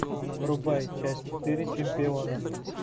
врубай часть четыре чемпиона